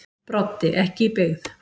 Broddi: Ekki í byggð.